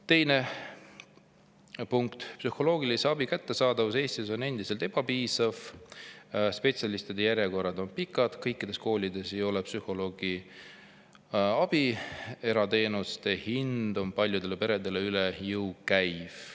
Teine punkt, psühholoogilise abi kättesaadavus Eestis on endiselt ebapiisav: spetsialistide järjekorrad on pikad, kõikides koolides ei ole psühholoogi, erateenuse hind on paljudele peredele üle jõu käiv.